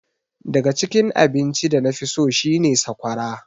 Daga cikin abinci da nafi so shi ne sakwara.